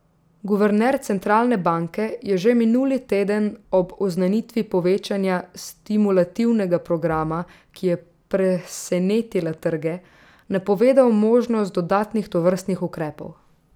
Guverner centralne banke je že minuli teden ob oznanitvi povečanja stimulativnega programa, ki je presenetila trge, napovedal možnost dodatnih tovrstnih ukrepov.